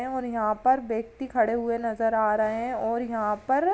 और यहां पर व्यक्ति खड़े हुए नज़र आ रहे हैं और यहां पर --